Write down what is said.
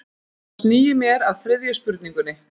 Þá sný ég mér að þriðju spurningunni.